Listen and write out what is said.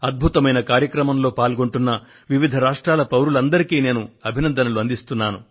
అద్భుతమైన కార్యక్రమంలో పాల్గొంటున్న వివిధ రాష్ట్రాల పౌరులందరికీ నేను అభినందనలు అందిస్తున్నాను